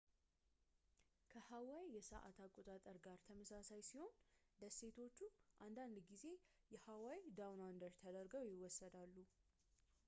ከhawaii የሰአት አቆጣጠር ጋር ተመሳሳይ ሲሆኑ፣ ደሴቶቹ አንዳንድ ጊዜ የ"hawaii down under ተደርገው ይወሰዳሉ